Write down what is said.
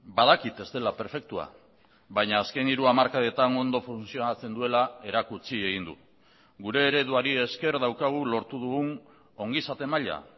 badakit ez dela perfektua baina azken hiru hamarkadetan ondo funtzionatzen duela erakutsi egin du gure ereduari esker daukagu lortu dugun ongizate maila